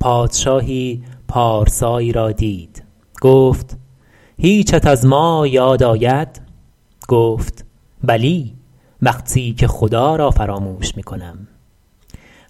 پادشاهی پارسایی را دید گفت هیچت از ما یاد آید گفت بلی وقتی که خدا را فراموش می کنم